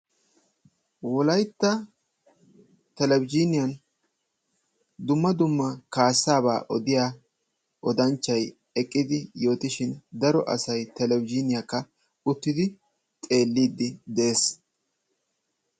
Wolaytta telebizhiniyaan dumma dumma kassaaba odiyaa oddanchchay oodishin dro asay telebizhiniyaakk auttidi xeelliidi de'ees.